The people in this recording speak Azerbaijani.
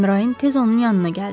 Əmrahin tez onun yanına gəldi.